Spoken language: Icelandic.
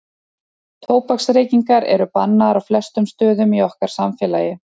tóbaksreykingar eru bannaðar á flestum stöðum í okkar samfélagi